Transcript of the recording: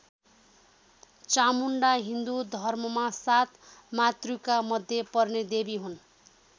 चामुण्डा हिन्दु धर्ममा सात मातृका मध्य पर्ने देवी हुन।